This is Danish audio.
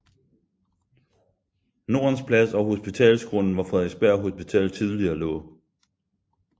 Nordens Plads og Hospitalsgrunden hvor Frederiksberg Hospital tidligere lå